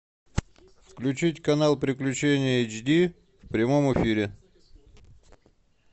включить канал приключения эйч ди в прямом эфире